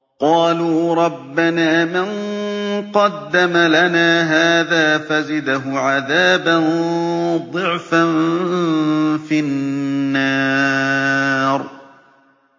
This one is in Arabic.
قَالُوا رَبَّنَا مَن قَدَّمَ لَنَا هَٰذَا فَزِدْهُ عَذَابًا ضِعْفًا فِي النَّارِ